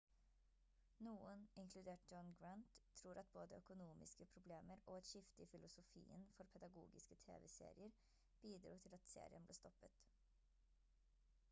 noen inkludert john grant tror at både økonomiske problemer og et skifte i filosofien for pedagogiske tv-serier bidro til at serien ble stoppet